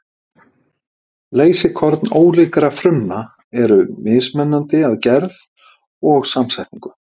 Leysikorn ólíkra frumna eru mismunandi að gerð og samsetningu.